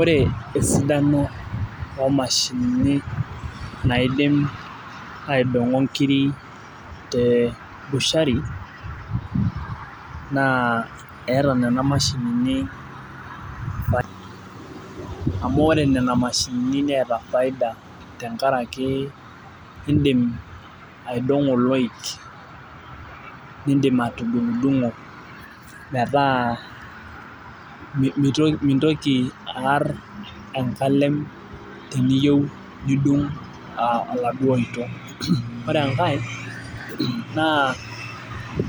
Ore esidano omashinini naidim aidong'o nkiri te bushari, naa eeta nena mashinini amu ore nena mashinini neeta faida tenkaraki idim aidong'o iloik. Idim atudung'dung'o metaa mintoki aar enkalem teniyieu nidung' aladuo oito. Ore enkae, naa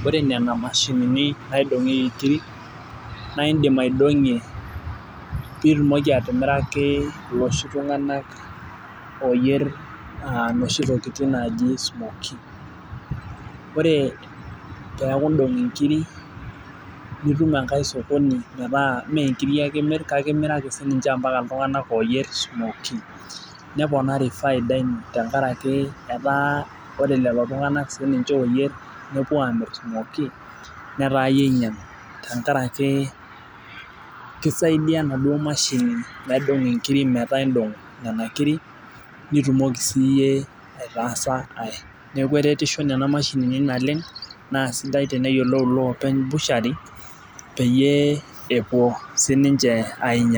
ore nena mashinini nadung'ieki nkirik, naidim aidong'ie pitumoki atimiraki loshi tung'anak oyier noshi tokiting naji smoky. Ore peeku idong' inkiri nitum enkae sokoni metaa menkiri ake imir kake imiraki sininche ampaka iltung'anak oyier smoky. Neponari faida enye tenkaraki etaa ore lelo tung'anak sininche oyier nepuo amir smoky, netaa iyie inyang' tenkaraki kisaidia naduo mashini naidong' inkiri metaa idong' nena kiri, nitumoki siyie aitaasa ai. Neeku eretisho nena mashinini naleng', naa sidai teneyiolou iloopeny bushari, peyie epuo sininche ainyang'u.